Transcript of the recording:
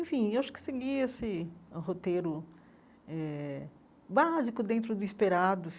Enfim, acho que segui esse roteiro eh básico dentro do esperado.